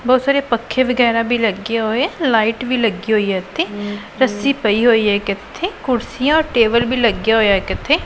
ਬਹੁਤ ਸਾਰੇ ਪੱਖੇ ਵਗੈਰਾ ਵੀ ਲੱਗੇ ਹੋਏ ਲਾਈਟ ਵੀ ਲੱਗੀ ਹੋਈ ਹੈ ਇਥੇ ਰੱਸੀ ਪਈ ਹੋਈ ਹੈ ਕਿ ਇੱਥੇ ਕੁਰਸੀਆਂ ਟੇਬਲ ਵੀ ਲੱਗਿਆ ਹੋਇਆ ਇਕ ਇਥੇ--